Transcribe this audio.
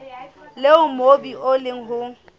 leo mobu o leng ho